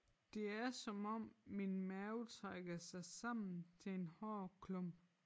Det er som om min mave trækker sig sammen til en hård klump